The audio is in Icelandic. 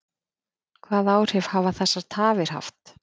Hvaða áhrif hafa þessar tafir haft?